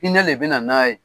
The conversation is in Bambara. hIinɛ de bɛ na n'a ye.